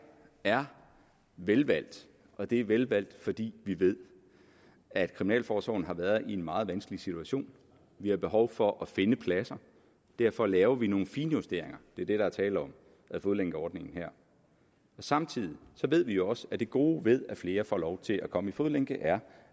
er velvalgt og det er velvalgt fordi vi ved at kriminalforsorgen har været i en meget vanskelig situation vi har behov for at finde pladser derfor laver vi nogle finjusteringer det er det der er tale om med fodlænkeordningen samtidig ved vi også at det gode ved at flere får lov til at komme i fodlænke er